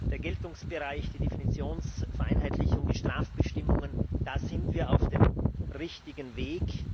Der Geltungsbereich, die Definitionsvereinheitlichung, die Strafbestimmungen da sind wir auf dem richtigen Weg.